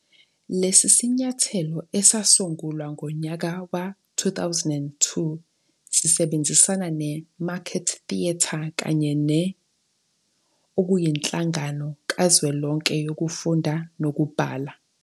Lesi sinyathelo, esasungulwa ngonyaka we-2002, sisebenzisana neMarket Theatre kanye ne ], okuyinhlangano kazwelonke yokufunda nokubhala.